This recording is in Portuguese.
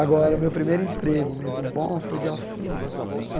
Agora, o meu primeiro emprego mesmo bom foi de office boy.